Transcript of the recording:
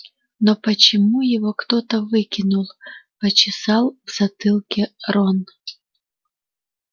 но почему его кто-то выкинул почесал в затылке рон